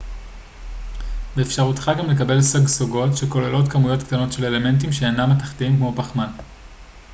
באפשרותך גם לקבל סגסוגות שכוללות כמויות קטנות של אלמנטים שאינם מתכתיים כמו פחמן